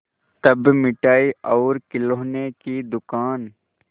तब मिठाई और खिलौने की दुकान